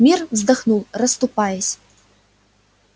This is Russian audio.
мир вздохнул расступаясь